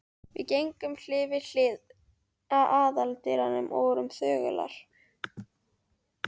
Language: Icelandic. Við gengum hlið við hlið að aðaldyrunum og vorum þögular.